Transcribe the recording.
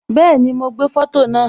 Bẹẹni, ma gbé foto naa